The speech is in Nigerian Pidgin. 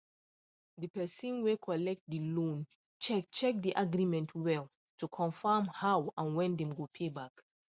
the person wey collect the loan check check the agreement well to confirm how and when dem go pay back